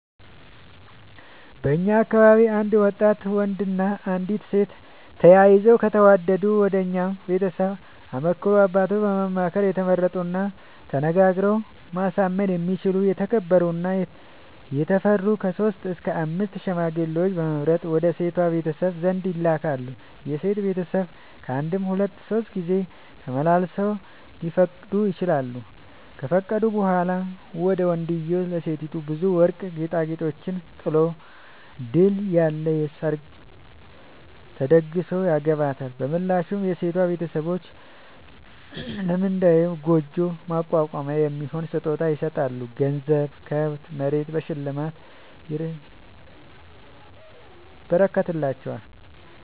በእኛ አካባቢ አንድ ወጣት ወንድ እና አንዲት ሴት ተያይተው ከተወዳዱ ወንድየው ቤተሰቡን አማክሮ አባቱን በማማከር የተመረጡና ተናግረው ማሳመን የሚችሉ የተከበሩ እና የታፈሩ ከሶስት እስከ አምስት ሽማግሌዎችን በመምረጥ ወደ ሴቷ ቤተሰብ ዘንድ ይልካል። የሴቷ ቤተሰብ ካንድም ሁለት ሶስት ጊዜ አመላልሰው ሊፈቅዱ ይችላሉ። ከፈቀዱ በኋላ ወንድዬው ለሴቲቱ ብዙ ወርቅ ጌጣጌጦችን ጥሎ ድል ያለ ሰርግ ተደግሶ ያገባታል። በምላሹ የሴቷ ቤተሰቦች ለመንድዬው ጉጆ ማቋቋሚያ የሚሆን ስጦታ ይሰጣሉ ገንዘብ፣ ከብት፣ መሬት በሽልማት ይረከትላቸዋል።